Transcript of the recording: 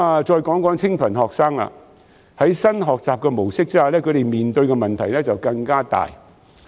再談談清貧學生，在新的學習模式下，他們面對的問題更大。